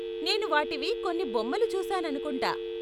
నేను వాటివి కొన్ని బొమ్మలు చూసాననుకుంటా.